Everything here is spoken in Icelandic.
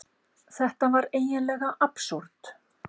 Þetta var eiginlega absúrd.